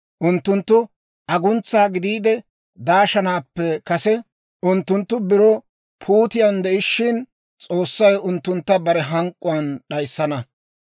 Unttunttu aguntsa gidiide daashanaappe kase, unttunttu biro puutiyaan de'ishshin, S'oossay unttuntta bare hank'k'uwaan d'ayissana.